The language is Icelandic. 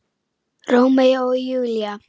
Rómeó og Júlía!